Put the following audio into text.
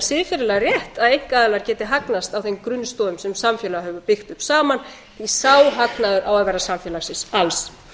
siðferðilega rétt að einkaaðilar geti hagnast á þeim grunnstoðum sem samfélag hefur byggt upp saman því að sá hagnaður á að vera samfélagsins alls